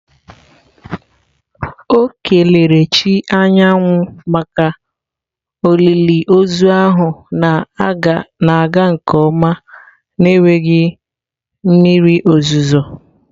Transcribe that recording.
O kelere chi anyanwụ maka olili ozu ahụ na-aga nke ọma n'enweghị mmiri ozuzo.